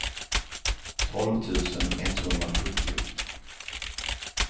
tolv tusen etthundrasjuttio